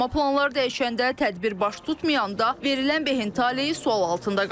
Amma planlar dəyişəndə, tədbir baş tutmayanda verilən behin taleyi sual altında qalır.